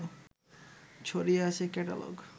ছড়িয়ে আছে ক্যাটালগ